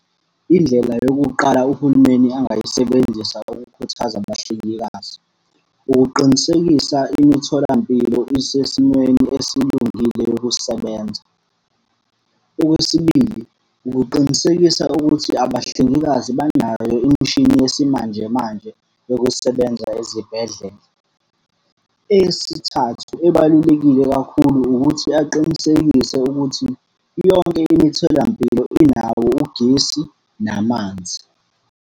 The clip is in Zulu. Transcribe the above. Indlela yokuqala uhulumeni angayisebenzisa ukukhuthaza abahlengikazi. Ukuqinisekisa imitholampilo isesimweni esilungile yokusebenza. Okwesibili, ukuqinisekisa ukuthi abahlengikazi banayo imishini yesimanjemanje yokusebenza ezibhedlela. Eyesithathu ebalulekile kakhulu ukuthi aqinisekise ukuthi, yonke imitholampilo inawo ugesi namanzi.